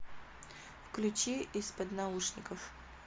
включи из под наушников